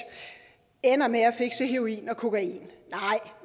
ender med at fixe heroin og kokain nej